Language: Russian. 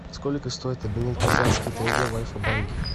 сколько стоит обменять казахский тенге в альфа банке